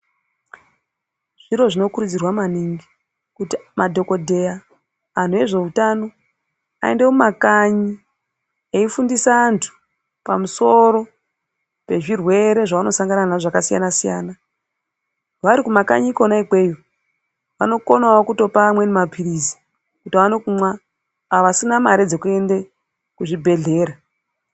Zviro zvinokurudzirwa maningi kuti madhogodheya antu ezveutano aende mumakanyi eifundisa antu pamusoro pezverwwere zvavanosangana nazvo zvakasiyana-siyana. Vari kumakanyi kona ikweyo vanokonavo kutopa amweni maphirizi kuti aone kumwa avo vasina mare dzekuende kuzvibhedhleya.